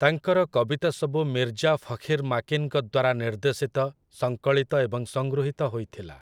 ତାଙ୍କର କବିତା ସବୁ ମିର୍ଜା ଫଖିର୍ ମାକିନ୍‌ଙ୍କ ଦ୍ୱାରା ନିର୍ଦ୍ଦେଶିତ, ସଂକଳିତ ଏବଂ ସଂଗୃହୀତ ହୋଇଥିଲା ।